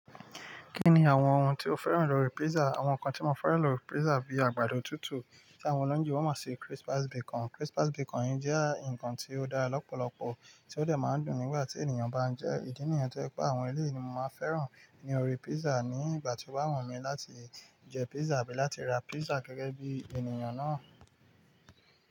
Kí ni àwọn ohun tí o fẹ́ràn lórí pizza? Àwọn nǹkan tí mo fẹ́ràn lórí pizza bíi àgbàdo tútù, tí àwọn ọlọ́yinbo mo si Christmas bacon. Christmas bacon yìí jẹ́ ǹkan tí ó dára lọ́pọ̀lọpọ̀ tí ó dè máa dùn nígbà tí ènìyàn bá ń jẹ́. Ìdí nìyen tó jẹ́ pé àwọn eléyi ni mo máa fẹ́ràn ni orí pizza ní ìgbà tí o ba wu mi láti jẹ pizza bí láti ra pizza gẹ́gẹ́ bí ènìyàn náà.